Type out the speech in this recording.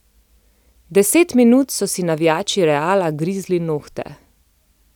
Deset minut so si navijači Reala grizli nohte.